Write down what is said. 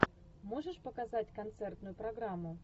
можешь показать концертную программу